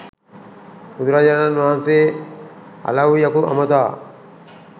බුදුරජාණන් වහන්සේ අලව්යකු අමතා